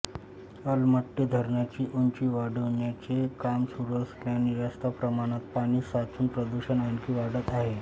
अलमट्टी धरणाची उंची वाढविण्याचे काम सुरू असल्याने जास्त प्रमाणात पाणी साचून प्रदूषण आणखी वाढत आहे